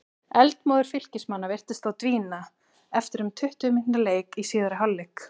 Eldmóður Fylkismanna virtist þó dvína eftir um tuttugu mínútna leik í síðari hálfleik.